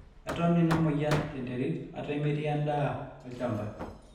eton ina mweyian tenterit ata metii endaa olchamba